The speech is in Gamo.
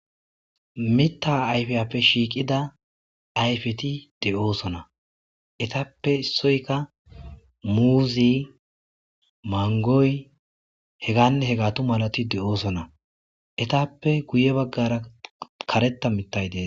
Mitta ayfiyape shiiqida ayfeti de'osona eetappe issoyka muuze, mangoy hegane hegatu malati de'osona eetappe guye baggara karetta mittay dees